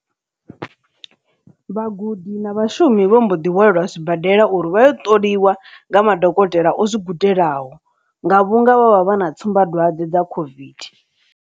Vhagudi na vhashumi vho mbo ḓi wanela zwibadela uri vha ya u ṱoliwa nga madokotela o zwi gudelaho, nga vhunga vha vha vha na tsumbadwadze dza COVID.